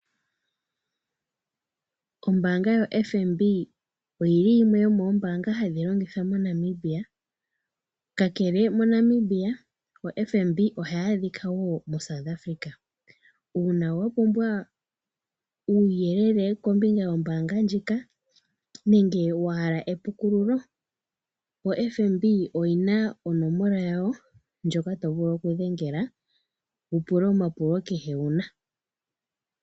Ombaanga yoFNB oyili yimwe yomombaanga hadhi longithwa moNamibia. Kakele moNamibia oFNB ohaya adhiwo wo muSouth Africa. Uuna wapumbwa uuyeyele kombinga yombaanga ndjika nenge wahala epukululo oFNB oyina onomola yawo ndjoka to vulu okudhengela wu pule omapulo kehe wuna.